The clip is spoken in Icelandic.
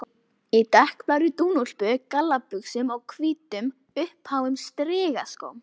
Í dökkblárri dúnúlpu, gallabuxum og hvítum, uppháum strigaskóm.